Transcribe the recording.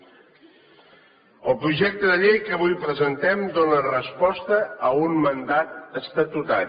el projecte de llei que avui presentem dóna resposta a un mandat estatutari